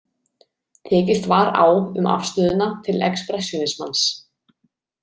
Tekist var á um afstöðuna til expressjónismans.